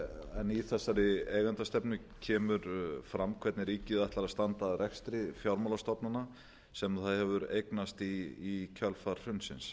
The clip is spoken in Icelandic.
en í þessari eigendastefnu kemur fram hvernig ríkið ætlar að standa að rekstri fjármálastofnana sem það hefur eignast í kjölfar hrunsins